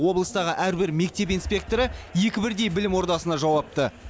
облыстағы әрбір мектеп инспекторы екі бірдей білім ордасына жауапты